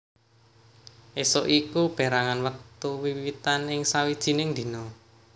Ésuk iku pérangan wektu wiwitan ing sawijining dina